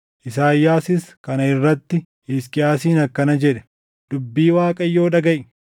Isaayyaasis kana irratti Hisqiyaasiin akkana jedhe; “Dubbii Waaqayyoo dhagaʼi: